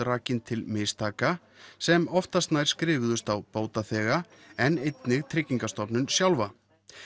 rakin til mistaka sem oftast nær skrifuðust á bótaþega en einnig Tryggingastofnun sjálfa